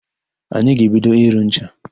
Anyị ga-ebido ịrụ ncha.